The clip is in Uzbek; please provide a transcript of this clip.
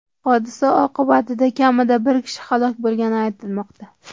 Hodisa oqibatida kamida bir kishi halok bo‘lgani aytilmoqda .